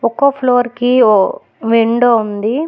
ఒక్కో ఫ్లోర్ కి ఓ విండో ఉంది.